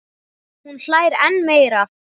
Hún hlær enn meira.